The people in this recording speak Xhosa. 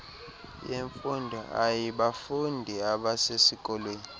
yemfundo aybafundi abasesikolweni